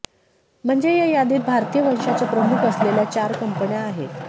म्हणजे या यादीत भारतीय वंशाचे प्रमुख असलेल्या चार कंपन्या आहेत